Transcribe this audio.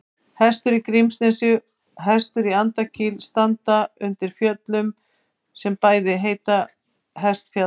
Hestur í Grímsnesi og Hestur í Andakíl standa undir fjöllum sem bæði heita Hestfjall.